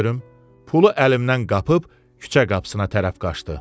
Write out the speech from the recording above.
Pulu əlimdən qapıb küçə qapısına tərəf qaçdı.